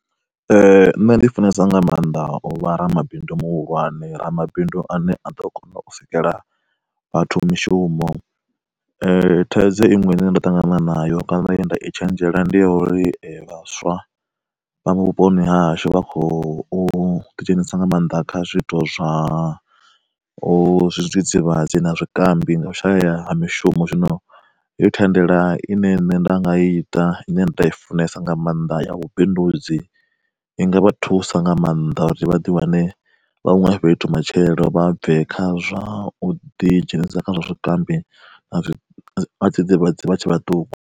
Nṋe ndi funesa nga maanḓa uvha vharamabindu muhulwane ramabindu ane a ḓo kona u sikela vhathu mishumo. Thaidzo iṅwe ine nṋe ndo ṱangana nayo kana ye ndai tshenzhela ndi ya uri vhaswa, vha vhuponi hahashu vha khou ḓidzhenisa nga maanḓa kha zwiito zwa zwidzidzivhadzi na zwikambi nga u shaya mishumo zwino heyo thendela ine nṋe nda nga ita ine nṋe nda i funesa nga maanḓa ya vhubindudzi, i nga vha thusa nga maanḓa uri vhaḓi wane vha huṅwe fhethu matshelo vha bve khazwa uḓi dzhenisa kha zwa zwikambi na zwidzidzivhadzi vha tshe vhaṱuku.